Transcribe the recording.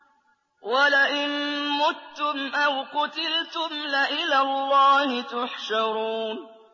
وَلَئِن مُّتُّمْ أَوْ قُتِلْتُمْ لَإِلَى اللَّهِ تُحْشَرُونَ